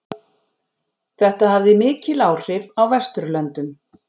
Þetta hafði mikil áhrif á Vesturlöndum.